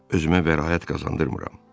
Özümə bəraət qazandırmıram.